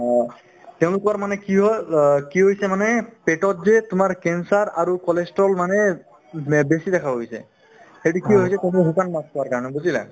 অ, তেওঁলোকৰ মানে কি হ'ল অ কি হৈছে মানে পেটত যে তোমাৰ cancer আৰু cholesterol মানে মে বেছি দেখা হৈ গৈছে সেইটো কিয় হৈছে শুকান মাছ খোৱাৰ কাৰণে বুজিলা